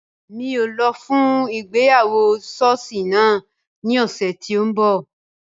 Rara, Emi kii yóò lọ fun ìgbéyàwó ṣọọṣi naa ni ọsẹ ti n bọ.